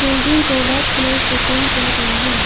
Building को white colour से paint किया गया है।